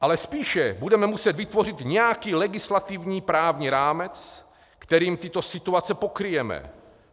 Ale spíše budeme muset vytvořit nějaký legislativní právní rámec, kterým tyto situace pokryjeme.